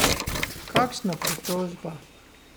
Kakšna pritožba?